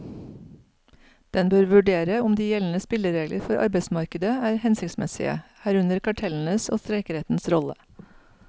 Den bør vurdere om de gjeldende spilleregler for arbeidsmarkedet er hensiktsmessige, herunder kartellenes og streikerettens rolle.